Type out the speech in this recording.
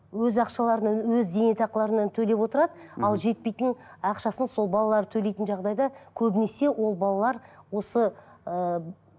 өз ақшаларынан өз зейнетақыларынан төлеп отырады ал жетпейтін ақшасын сол балалар төлейтін жағдайда көбінесе ол балалар осы ыыы